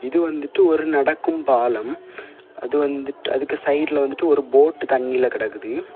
இது வந்துட்டு ஒரு நடக்கும் பாலம் அது வந்துட்டு அதுக்கு சைடுல வந்துட்டு ஒரு போட் ஒன்னு தண்ணில கடக்குது.